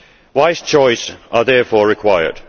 Wise choices are therefore required.